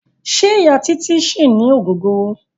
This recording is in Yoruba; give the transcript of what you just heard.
Ṣẹ́ Ìya Títí ṣì ní ògógóró.